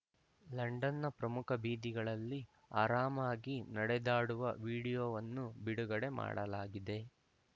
ಲಂಡನ್‌ನ ಪ್ರಮುಖ ಬೀದಿಗಳಲ್ಲಿ ಆರಾಮಾಗಿ ನಡೆದಾಡುವ ವೀಡಿಯೊವನ್ನು ಬಿಡುಗಡೆ ಮಾಡಲಾಗಿದೆ